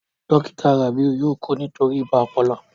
Dókítà Rabiu yóò kú nítorí ibà ọpọlọ